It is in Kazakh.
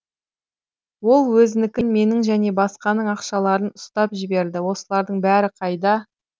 ол өзінікін менің және басқаның ақшаларын ұстап жіберді осылардың бәрі қайда